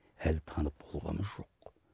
әлі танып болғамыз жоқ